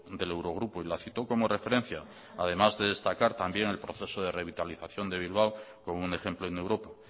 del eurogrupo y la citó como referencia además de destacar también el proceso de revitalización de bilbao como un ejemplo en europa